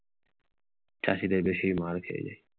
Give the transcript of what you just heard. চাষীদের বেশি মার খেয়ে যায়।